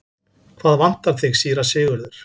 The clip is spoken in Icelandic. Hvað vantar þig, síra Sigurður?